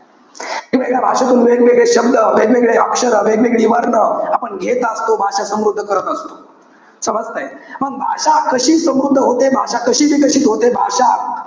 वेगळ्या भाषेतून वेगवेगळे शब्द, वेगवेगळे अक्षरं, वेगवेगळी वर्ण, आपण घेत असतो. भाषा समृद्ध करत असतो. समजतंय? मंग भाषा कशी समृद्ध होते? भाषा कशी विकसित होते? भाषा,